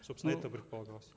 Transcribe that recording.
собственно это предполагалось